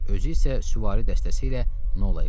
Özü isə süvari dəstəsi ilə Nolaya qayıtdı.